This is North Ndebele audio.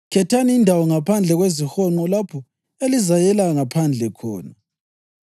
Khethani indawo ngaphandle kwezihonqo lapho elizayela ngaphandle khona.